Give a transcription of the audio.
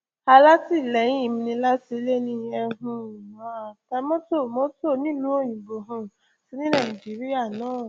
alátìlẹyìn mi ni látìléènì nílùú òyìnbó um àti ní nàìjíríà náà